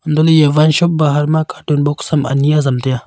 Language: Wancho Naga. hantoh lah ley eya wine shop bahar ma cartoon box am ani azam tai a.